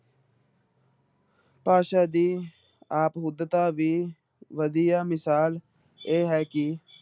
ਭਾਸ਼ਾ ਦੀ ਆਪਹੁਦਤਾ ਦੀ ਵਧੀਆ ਮਿਸਾਲ ਇਹ ਹੈ ਕਿ